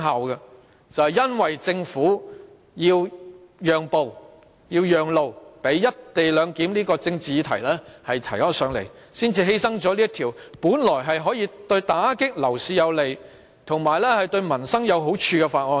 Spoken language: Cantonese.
然而，因為政府要讓路給"一地兩檢"這項政治議案，便犧牲了這項本來可以盡快通過以打擊樓市及有利民生的《條例草案》。